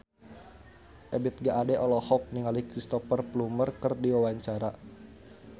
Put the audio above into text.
Ebith G. Ade olohok ningali Cristhoper Plumer keur diwawancara